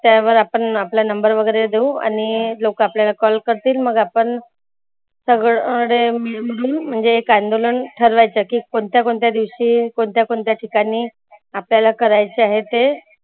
त्यावर आपण आपला number वगैरा देऊ आणि लोक आपल्याला call करतील. मग आपण सगळ अरे म्हणजे एक अंदोलन ठरवायचं की कोणत्या कोणत्या दिवशी, कोणत्या कोणत्या ठिकाणी आपल्याला करायचं आहे ते